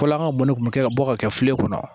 Fɔlɔ an ka mɔni kun bɛ ka bɔ ka kɛ filen kɔnɔ